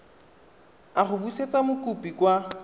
a go busetsa mokopi kwa